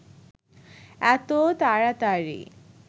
এত তাড়াতাড়ি